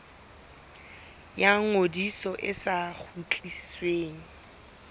ya ngodiso e sa kgutlisweng